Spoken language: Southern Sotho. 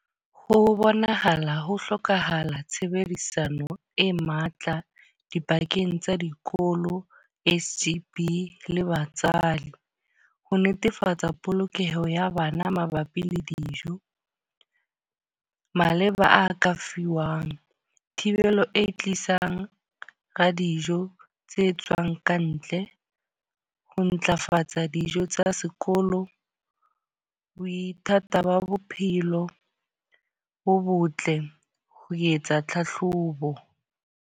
Ho bonahala ho hlokahala tshebedisano e matla dipakeng tsa dikolo, S_G_B le batswadi. Ho netefatsa polokeho ya bana mabapi le dijo. Maleba a ka fiwang, thibelo e tlisang ra dijo tse tswang ka ntle. Ho ntlafatsa dijo tsa sekolo, boithati ba bophelo bo botle ho etsa tlhahlobo.